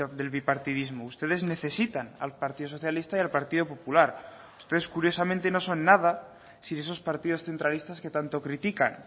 del bipartidismo ustedes necesitan al partido socialista y al partido popular ustedes curiosamente no son nada sin esos partidos centralistas que tanto critican